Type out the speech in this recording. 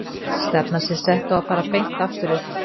Stefnan sé sett á að fara beint aftur upp.